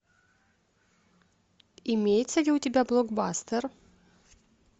имеется ли у тебя блокбастер